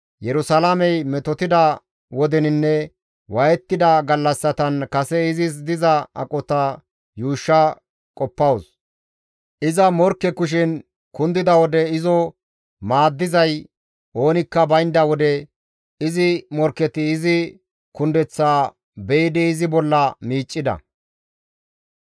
Yerusalaamey metotida wodeninne waayettida gallassatan kase izis diza aqota yuushsha qoppawus; iza morkke kushen kundida wode izo maaddizay oonikka baynda wode, izi morkketi izi kundeththaa be7idi izi bolla miiccida.